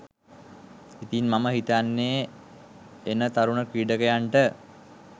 ඉතින් මම හිතන්නේ එන තරුණ ක්‍රීඩකයන්ට